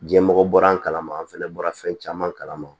Diɲɛmɔgɔ bɔra an kalama an fɛnɛ bɔra fɛn caman kalama